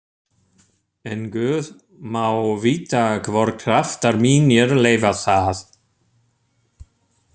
En guð má vita hvort kraftar mínir leyfa það.